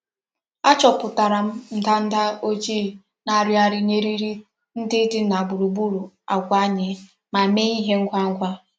Achoputara m ndanda ojii na-arighari n'eriri ndi di na gburu gburu agwa anyi ma mee ihe ihe ngwa ngwa.